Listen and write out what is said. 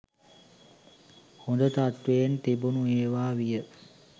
හොඳ තත්ත්වයෙන් තිබුණ ඒවා විය.